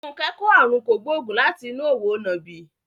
Funke kò àrùn kògbóògùn láti inú òwò nàbì.